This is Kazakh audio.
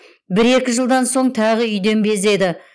бір екі жылдан соң тағы үйден безеді